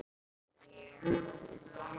Þá var oft feikna fjör.